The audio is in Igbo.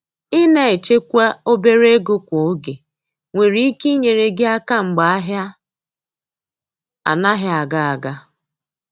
Ina echekwa obere ego kwa oge nwere ike inyere gi aka mgbe ahia anaghị aga aga.